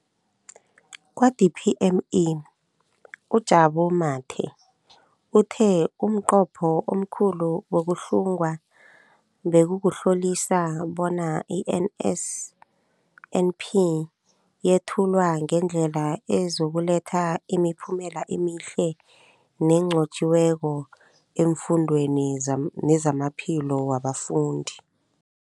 Kwa-DPME, uJabu Mathe, uthe umnqopho omkhulu wokuhlunga bekukuhlolisisa bona i-NSNP yethulwa ngendlela ezokuletha imiphumela emihle nenqotjhiweko efundweni nezamaphilo wabafundi.